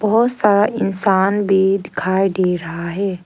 बहोत सारा इंसान भी दिखाई दे रहा है।